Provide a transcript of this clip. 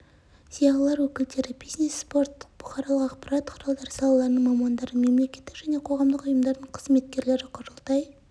зиялылар өкілдері бизнес спорт бұқаралық ақпарат құралдары салаларының мамандары мемлекеттік және қоғамдық ұйымдардың қызметкерлері құрылтай